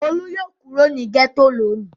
Olú yóò kó kúrò ní gẹ́tò lónìí.